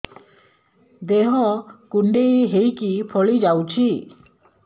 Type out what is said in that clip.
ଦେହ କୁଣ୍ଡେଇ ହେଇକି ଫଳି ଯାଉଛି